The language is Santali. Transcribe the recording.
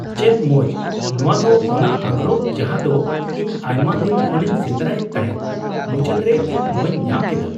ᱪᱮᱫ ᱢᱚᱡ ! ᱱᱚᱣᱟ ᱫᱚ ᱚᱱᱟ ᱟᱸᱜᱨᱚᱯ ᱡᱟᱦᱟ ᱫᱚ ᱤᱧ ᱟᱭᱢᱟ ᱫᱤᱱ ᱠᱷᱚᱱᱤᱧ ᱥᱮᱸᱫᱨᱟᱭᱮᱫ ᱛᱟᱦᱮᱸᱫ ᱾ ᱢᱩᱪᱟᱹᱫ ᱨᱮ ᱤᱧ ᱱᱚᱣᱟᱧ ᱧᱟᱢ ᱠᱮᱫᱟ ᱾